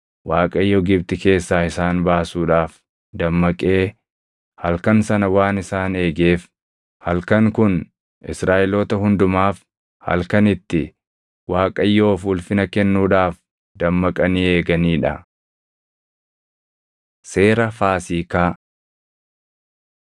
Waaqayyo Gibxi keessaa isaan baasuudhaaf dammaqee halkan sana waan isaan eegeef, halkan kun Israaʼeloota hundumaaf halkan itti Waaqayyoof ulfina kennuudhaaf dammaqanii eeganii dha. Seera Faasiikaa